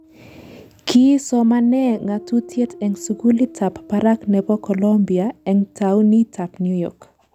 Kii somanee ng'atutiet eng sukulit ab barak nebo Colombia eng taunit ab New York